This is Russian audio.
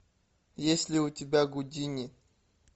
есть ли у тебя гудини